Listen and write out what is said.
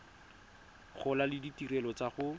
gola le ditirelo tsa go